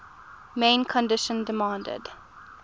main condition demanded